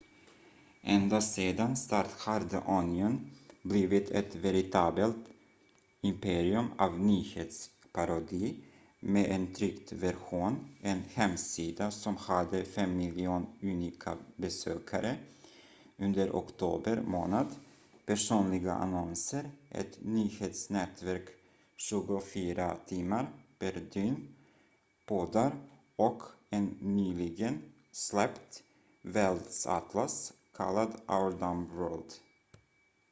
ända sedan start har the onion blivit ett veritabelt imperium av nyhetsparodi med en tryckt version en hemsida som hade 5 000 000 unika besökare under oktober månad personliga annonser ett nyhetsnätverk 24 timmar per dygn poddar och en nyligen släppt världsatlas kallad our dumb world